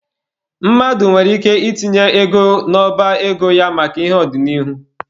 Mmadụ nwere ike itinye ego n'ọba ego ya maka ihi ọdịnihu.